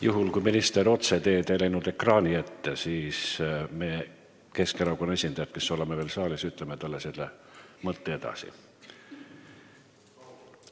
Juhul kui minister ei läinud otseteed ekraani ette, siis ütleme meie, Keskerakonna esindajad, kes me oleme veel saalis, selle mõtte talle edasi.